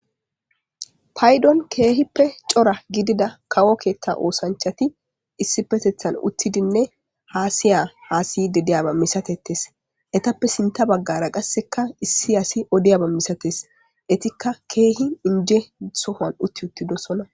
Paydon keehippe cora gidida kawo keetta oosanchati issi petethan uttidinne haasiya haasiy dedeyaba misatetes etappe sinta baggara qasseka issi asi odiyaba misates etikka keehi inje sohan utti uttidosona